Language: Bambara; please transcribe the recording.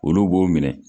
Olu b'o minɛ